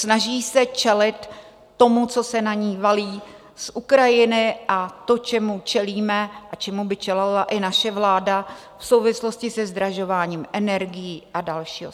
Snaží se čelit tomu, co se na ni valí z Ukrajiny, a tomu, čemu čelíme a čemu by čelila i naše vláda v souvislosti se zdražováním energií a dalšího.